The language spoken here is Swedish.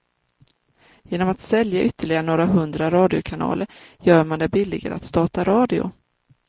Genom att sälja ytterligare några hundra radiokanaler gör man det billigare att starta radio.